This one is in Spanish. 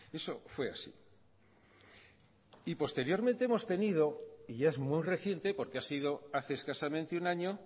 eso fue así y posteriormente hemos tenido y es muy reciente porque ha sido hace escasamente un año